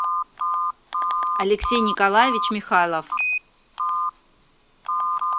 алексей николаевич михайлов